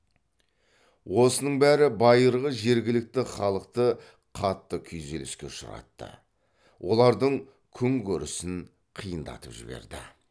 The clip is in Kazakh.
осының бәрі байырғы жергілікті халықты қатты күйзеліске ұшыратты олардың күн көрісін қиындатып жіберді